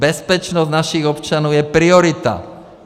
Bezpečnost našich občanů je priorita!